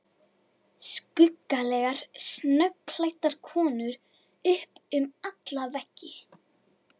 Skuggalega snöggklæddar konur upp um alla veggi.